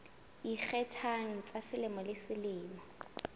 ikgethang tsa selemo le selemo